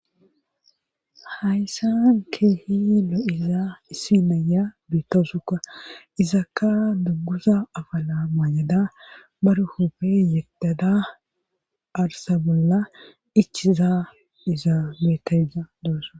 Hayssa keehi lo7iza issi naya beittosukka isakka duggusa afala maayada baruhupe yetada arsa bolla ichiza iza beetaa doosa